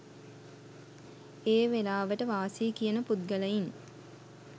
ඒ වෙලාවට වාසියි කියන පුද්ගලයින්